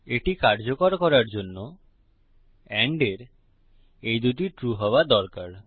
এটি কার্যকর করার জন্য এন্ড এর এই দুটি ট্রু হওয়া দরকার